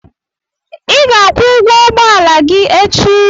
I ga-akwụ ụgwọ ụgbọala gị echi!